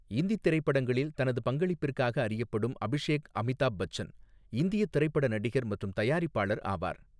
இந்தித் திரைப்படங்களில் தனது பங்களிப்பிற்காக அறியப்படும் அபிஷேக் அமிதாப் பச்சன், இந்தியத் திரைப்பட நடிகர் மற்றும் தயாரிப்பாளர் ஆவார்.